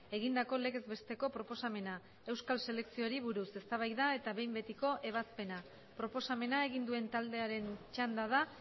egindako legez besteko proposamena euskal selekzioari buruz eztabaida eta behin betiko ebazpena proposamena egin duen taldearen txanda da